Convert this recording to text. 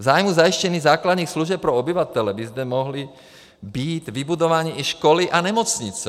V zájmu zajištění základních služeb pro obyvatele by zde mohly být vybudovány i školy a nemocnice.